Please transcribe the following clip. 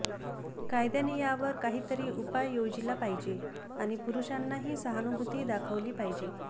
कायद्याने यावर काही तरी उपाय योजिला पाहिजे आणि पुरुषांनाही सहानुभूती दाखवली पाहिजे